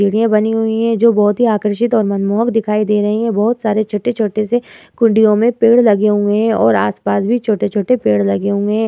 सीढियां बनी हुई है जो बहोत ही आकर्षित और मनमोहक दिखाई दे रही हैं। बहोत सारे छोटे-छोटे से कुण्डियों में पेड़ लगे हुये हैं और आस पास भी छोटे-छोटे पेड़ लगे हुए हैं।